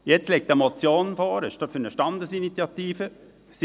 Jetzt liegt eine Motion für eine Standesinitiative vor.